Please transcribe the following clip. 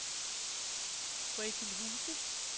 Røgilhuse